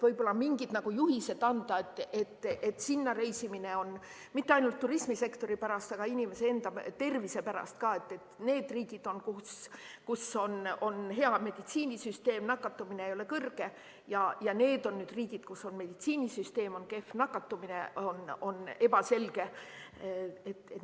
Võib-olla tuleks mingid juhised anda, kuhu võib reisida – mitte ainult turismisektori pärast, vaid inimese enda tervise pärast ka –, et on need riigid, kus on hea meditsiinisüsteem, nakatumine ei ole kõrge, ja on need riigid, kus meditsiinisüsteem on kehv, nakatumine on ebaselge jne.